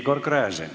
Igor Gräzin.